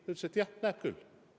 Ta ütles, et jah, näeb küll.